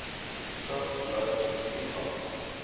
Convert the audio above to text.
vigs lyers toegang